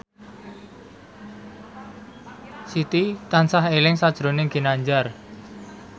Siti tansah eling sakjroning Ginanjar